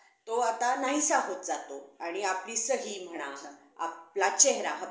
तो आता नाहीसा होत जातो आणि आपली सही म्हणा आपला चेहरा